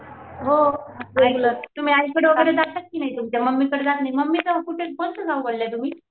हो बेंगलोर तुम्ही आईकडे वगैरे जात की नाही तुमच्या मामीकडे मम्मीच गाव कोणतं गाव बोलल्या तुम्ही?